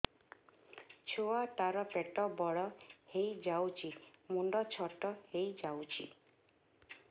ଛୁଆ ଟା ର ପେଟ ବଡ ହେଇଯାଉଛି ମୁଣ୍ଡ ଛୋଟ ହେଇଯାଉଛି